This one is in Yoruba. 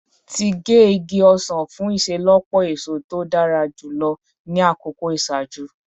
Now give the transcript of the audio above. Ti ge igi osan fun iṣelọpọ eso to dara julọ ni akoko iṣaaju